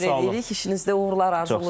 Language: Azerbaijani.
İşinizdə uğurlar arzulayırıq.